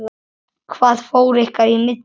Hvað fór ykkar í milli?